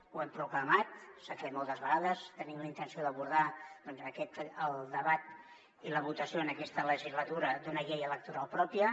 ho hem proclamat s’ha fet moltes vegades tenim la intenció d’abordar doncs el debat i la votació en aquesta legislatura d’una llei electoral pròpia